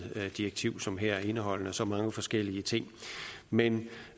direktiv som her indeholdende så mange forskellige ting men